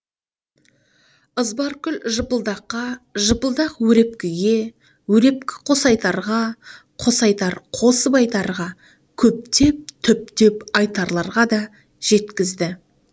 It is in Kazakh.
ызбаркүл жыпылдаққа жыпылдақ өрепкіге өрепкі қосайтарға қосайтар қосып айтарға көптеп түптеп айтарларға да жеткізді